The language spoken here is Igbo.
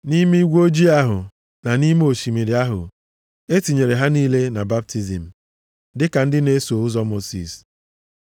Nʼime igwe ojii ahụ, na nʼime osimiri ahụ e tinyere ha niile na baptizim, dịka ndị na-eso ụzọ Mosis.